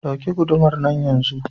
Ɗauki gudumar nan yanzu!